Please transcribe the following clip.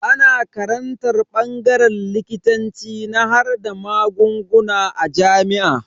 Ana karantar bangaren likitanci na harhada magunguna a jami'a.